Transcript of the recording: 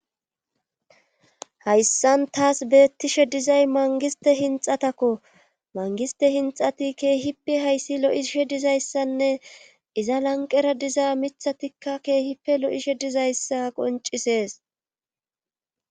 Hayssan taas beettishe dizay mangiste hinxatakko mangiste hinxati keehippe hayssi lo'ishe dizayssanne iza lanqera diza mithatikka keehippe lo'ishe dizayssa qoncisees